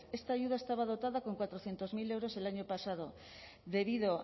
esta ayuda estaba dotada con cuatrocientos mil euros el año pasado debido